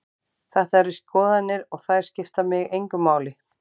Þetta eru skoðanir og þær skipta mig engu máli.